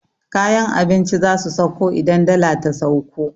Kayan abinci zasu sauko idan dala ta sauko